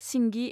सिंगि